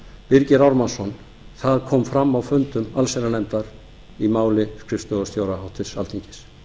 birgir ármannsson það kom fram á fundum allsherjarnefndar í máli skrifstofustjóra háttvirtur alþingis